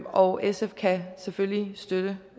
og sf kan selvfølgelig støtte